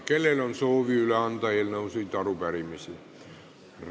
Kellel on soovi anda üle eelnõusid või arupärimisi?